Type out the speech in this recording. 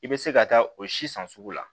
I bɛ se ka taa o si san sugu la